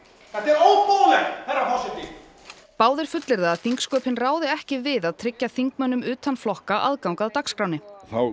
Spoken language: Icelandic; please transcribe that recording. óboðlegt herra forseti báðir fullyrða að þingsköpin ráði ekki við að tryggja þingmönnum utan flokka aðgang að dagskránni þá